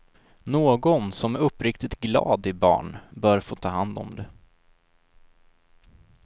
Någon som är uppriktigt glad i barn, bör få ta hand om det.